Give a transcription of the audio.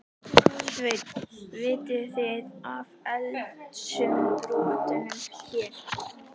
Sveinn: Vitið þið af eldsumbrotunum hér?